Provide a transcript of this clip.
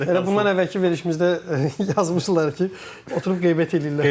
Elə bundan əvvəlki verilişimizdə yazmışdılar ki, oturub qeybət eləyirlər.